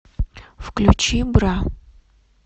включи бра